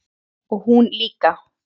Og hún líka.